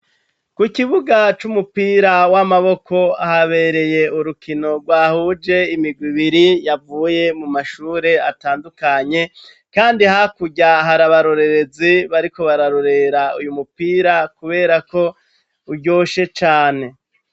ku kibuga c'umupira w'amaboko habereye urukino rwahuje imigwi ibiri yavuye mu mashure atandukanye kandi hakurya hari abarorerezi bariko bararorera uyu mupira kubera ko uryoshe cane